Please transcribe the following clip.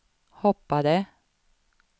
hoppade